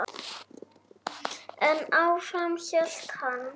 En áfram hélt hann.